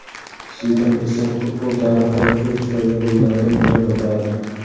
Zidan esa futbol tarixidagi eng chiroyli gollardan birini uradi.